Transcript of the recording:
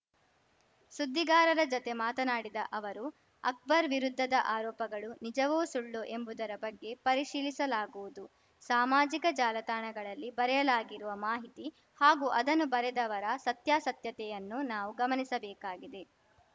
ಸುದ್ದಿಗಾರರ ಜತೆ ಮಾತನಾಡಿದ ಅವರು ಅಕ್ಬರ್‌ ವಿರುದ್ಧದ ಆರೋಪಗಳು ನಿಜವೋ ಸುಳ್ಳೋ ಎಂಬುದರ ಬಗ್ಗೆ ಪರಿಶೀಲಿಸಲಾಗುವುದು ಸಾಮಾಜಿಕ ಜಾಲತಾಣಗಳಲ್ಲಿ ಬರೆಯಲಾಗಿರುವ ಮಾಹಿತಿ ಹಾಗೂ ಅದನ್ನು ಬರೆದವರ ಸತ್ಯಾಸತ್ಯತೆಯನ್ನೂ ನಾವು ಗಮನಿಸಬೇಕಾಗಿದೆ